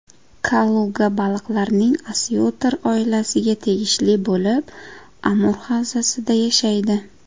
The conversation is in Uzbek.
Kaluga baliqlarning osyotr oilasiga tegishli bo‘lib, Amur havzasida yashaydi.